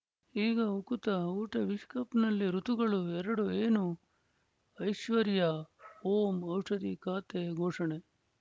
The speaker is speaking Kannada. ಈಗ ಉಕುತ ಊಟ ವಿಶ್ವಕಪ್‌ನಲ್ಲಿ ಋತುಗಳು ಎರಡು ಏನು ಐಶ್ವರ್ಯಾ ಓಂ ಔಷಧಿ ಖಾತೆ ಘೋಷಣೆ